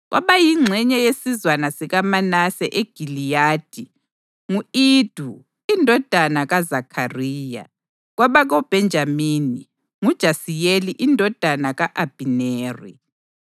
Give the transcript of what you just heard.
kwabayingxenye yesizwana sikaManase eGiliyadi: ngu-Ido indodana kaZakhariya; kwabakoBhenjamini: nguJasiyeli indodana ka-Abhineri;